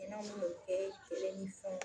Hina mun be kɛ cɛlen ni fɛnw